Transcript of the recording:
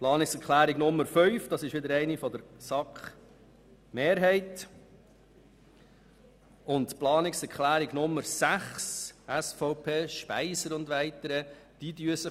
Planungserklärung 5, von einer SAK-Mehrheit unterstützt, und Planungserklärung 6 SVP/Speiser und weitere, widersprechen sich.